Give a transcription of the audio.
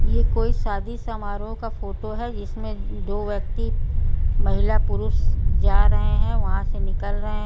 यह शादी की फोटो है जिसमें दो व्यक्ति महिला और पुरुष जा रहे है वहा से निकल रहे है।